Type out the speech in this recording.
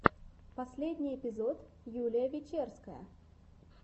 последний эпизод юлия вечерская